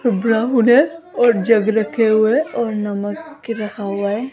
और जग रखे हुएं है और नमक के रखा हुआ है।